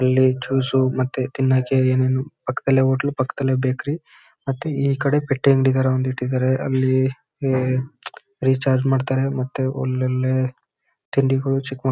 ಅಲ್ಲಿ ಜ್ಯೂಸ್ಸು ಮತ್ತೆ ತಿನ್ನಕ್ಕೆ ಏನ್ ಏನು ಪಕ್ದಲ್ಲೇ ಹೋಟ್ಲು ಪಕ್ದಲ್ಲೇ ಬೇಕ್ರಿ ಮತ್ತೆ ಈ ಕಡೆ ಪೆಟ್ಟಿ ಅಂಗಡಿ ತರಾ ಇಟ್ಟಿದಾರೆ ಅಲ್ಲಿ ಆಹ್ ಅಲ್ಲಿ ರಿಚಾರ್ಜ್ ಮಾಡ್ತಾರೆ ಮತ್ತೆ ಅಲ್ ಅಲ್ಲೇ ತಿಂಡಿಗಳು ಚಿಕ್ ಮಕ್--